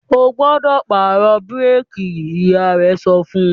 "Ó gbọ́dọ̀ pàrọ̀ búrékì!", Ìyá rẹ̀ sọ fún